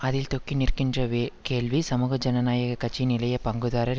அதில் தொக்கி நிற்கின்ற வே கேள்வி சமூக ஜனநாயக கட்சியின் இளைய பங்குதாரர்